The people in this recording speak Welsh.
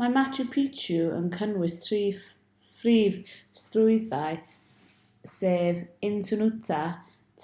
mae machu picchu yn cynnwys tri phrif strwythur sef intihuatana